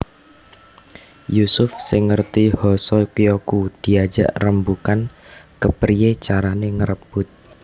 Yusuf sing ngerti Hoso Kyoku diajak rembugan kepriyé carané ngrebut